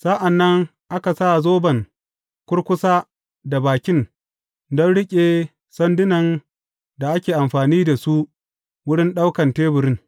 Sa’an nan aka sa zoban kurkusa da bakin don riƙe sandunan da ake amfani da su wurin ɗaukan teburin.